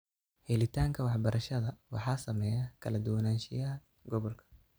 Helitaanka waxbarashada waxaa saameeya kala duwanaanshiyaha gobolka.